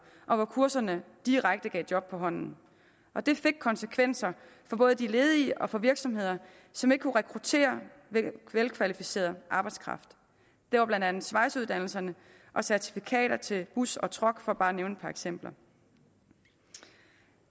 og hvor kurserne direkte gav job på hånden og det fik konsekvenser for både de ledige og for virksomheder som ikke kunne rekruttere velkvalificeret arbejdskraft det var blandt andet svejseuddannelserne og certifikater til bus og truck for bare at nævne et par eksempler